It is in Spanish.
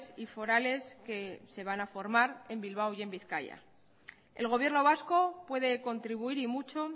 y forales que se van a formar en bilbao y en bizkaia el gobierno vasco puede contribuir y mucho